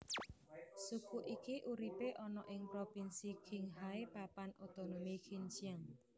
Suku iki uripe ana ing propinsi Qinghai Papan Otonomi Xinjiang